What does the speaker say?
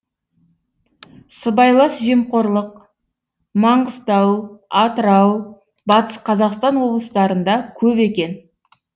сыбайлас жемқорлық маңғыстау атырау батыс қазақстан облыстарында көп екен